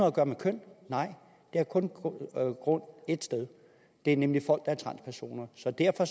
at gøre med køn nej det har kun baggrund ét sted det er nemlig folk der er transpersoner så derfor